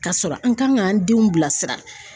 Ka sɔrɔ an kan k'an denw bila sira.